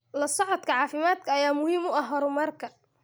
La socodka caafimaadka ayaa muhiim u ah horumarka.